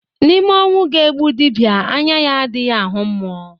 N'ime ọnwu ga-egbu dibịa anya ya adighị ahụ mmụọ